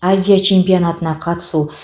азия чемпионатына қатысу